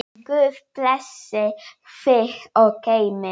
Guð blessi þig og geymi.